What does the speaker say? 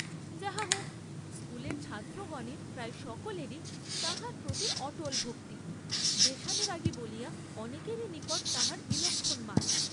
যাহা হউক, স্কুলের ছাত্রগণের প্রায় সকলেরই তাঁহার প্রতি অটল ভক্তি, দেশানুরাগী বলিয়া অনেকেরই নিকট তাঁহার বিলক্ষণ মান।